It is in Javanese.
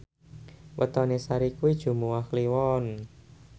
wetone Sari kuwi Jumuwah Kliwon